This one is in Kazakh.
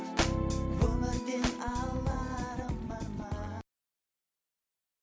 өмірден аларым бар ма